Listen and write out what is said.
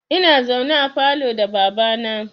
Ina zaune a falo da baba na